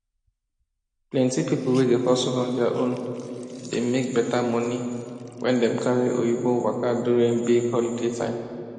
plenty people wey dey hustle on their own dey make better money when dem carry oyinbo waka during big holiday time